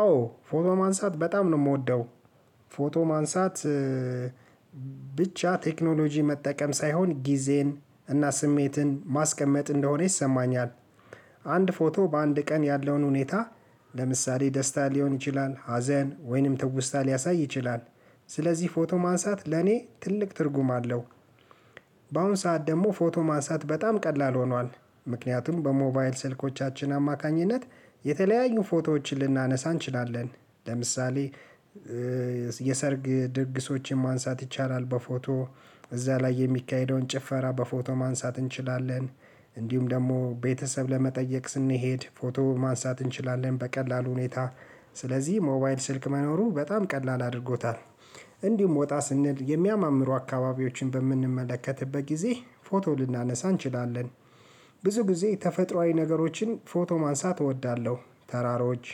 አዎ ፎቶ ማንሳት በጣም ነው እምወደው ፎቶ ማንሳት። ብቻ ቴክኖሎጂ መጠቀም ሳይሆን ጊዜን እና ስሜትን ማስቀመጥ እንደሆነ ይሰማኛል። አንድ ፎቶ በአንድ ቀን ያለውን ሁኔታ ለምሳሌ ደስታ ሊሆን ይችላል ሀዘን ወይንም ትውስታ ሊያሳይ ይችላል። ስለዚህ ፎቶ ማንሳት ለኔ ትልቅ ትርጉም አለው። በአሁን ሰዓት ደሞ ፎቶ ማንሳት በጣም ቀላል ሆኗል። ምክንያቱም በሞባይል ስልኮቻችን አማካኝነት የተለያዩ ፎቶዎችን ልናነሳ እንችላለን። ለምሳሌ የሰርግ ድግሶችን ማንሳት ይቻላል በፎቶ እዛ ላይ የሚካሄደውን ጭፈራ በፎቶ ማንሳት እንችላለን። እንዲሁም ደግሞ ቤተሰብ ለመጠየቅ ስንሄድ ፎቶ ማንሳት እንችላለን በቀላሉ ሁኔታ ስለዚህ ሞባይል ስልክ መኖሩ በጣም ቀላል አድርጎታል። እንዲሁም ወጣ ስንል የሚያማምሩ አካባቢዎችን በምንመለከትበት ጊዜ ፎቶ ልናነሳ እንችላለን። ብዙ ጊዜ ተፈጥሮአዊ ነገሮችን ፎቶ ማንሳት እወዳለሁ። ተራሮች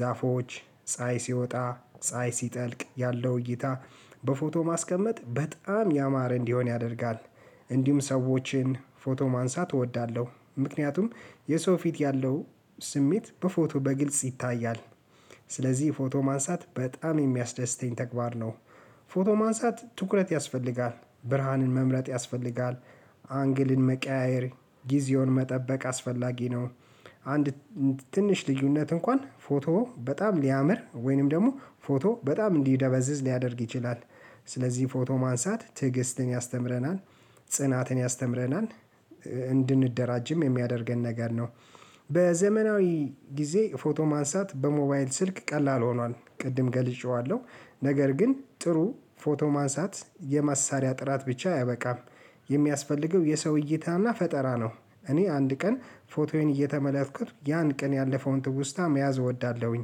ዛፎች ፀሀይ ሲወጣ ፀሀይ ሲጠልቅ ያለው እይታ በፎቶ ማስቀመጥ በጣም ያማረ እንዲሆን ያደርጋል። እንዲሁም ሰዎችን ፎቶ ማንሳት እወዳለሁ ምክንያቱም የሰው ፊት ያለው ስሜት በፎቶ በግልጽ ይታያል። ስለዚህ ፎቶ ማንሳት በጣም የሚያስደስተኝ ተግባር ነው። ፎቶ ማንሳት ትኩረት ያስፈልጋል ብርሃንን መምረጥ ያስፈልጋል አንግልን መቀያየር ጊዜውን መጠበቅ አስፈላጊ ነው። አንድ ትንሽ ልዩነት እንኳን ፎቶ በጣም ሊያምር ወይንም ደግሞ ፎቶ በጣም እንዲደበዝዝ ሊያደርግ ይችላል። ስለዚህ ፎቶ ማንሳት ትዕግስትን ያስተምረናል። ጽናትን ያስተምረናል። እንድንደራጅም የሚያደርገን ነገር ነው። በዘመናዊ ጊዜ ፎቶ ማንሳት በሞባይል ስልክ ቀላል ሆኗል ቅድም ገልጨዋለሁ። ነገር ግን ጥሩ ፎቶ ማንሳት የማሳሪያ ጥራት ብቻ አያበቃም። የሚያስፈልገው የሰው እይታና ፈጠራ ነው። እኔ አንድ ቀን ፎቶዬን እየተመላትኩት ያን ቀን ያለፈውን ትውስታ መያዝ እወዳለሁኝ።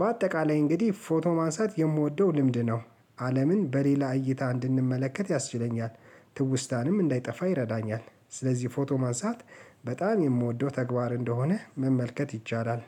በአጠቃላይ እንግዲህ ፎቶ ማንሳት የምወደው ልምድ ነው። አለምን በሌላ እይታ እንድንመለከት ያስችለኛል። ትውስታንም እንዳይጠፋ ይረዳኛል። ስለዚህ ፎቶ ማንሳት በጣም የምወደው ተግባር እንደሆነ መመልከት ይቻላል